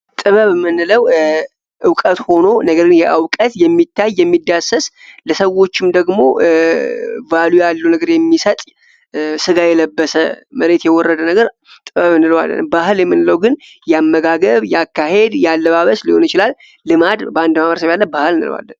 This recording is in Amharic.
ጥበብ የምንለው እውቀት ሆኖ ነገር ግን የሚታይ የሚዳሰስ ለሰዎችም ደግሞ ቫሊዩ። ያለው ነገር የሚሰጥ ስጋ የለበሰ መሬት የወረደ ነገር ጥበብ እንለዋለን ባህል የምንለው ግን የአመጋገብ ያካሄድ ያለባበስ ሊሆን ይችላል ልማድ በአንድ ማህበረሰብ ያለ ባህል እንለዋለን።